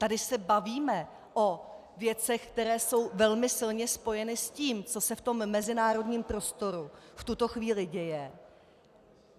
Tady se bavíme o věcech, které jsou velmi silně spojeny s tím, co se v tom mezinárodním prostoru v tuto chvíli děje.